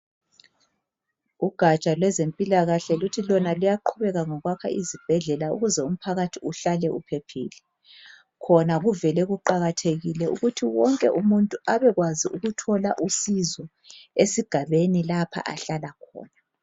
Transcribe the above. Ugatsha lwezempilakahle luthi lona luyaqhubeka ngokwakha izibhedlela ukuze umphakathi uhlale uphephile, khona kuvele kuqakathekile ukuthi wonke umuntu abekwazi ukuthole usizo esigabeni lapha ahlala khona.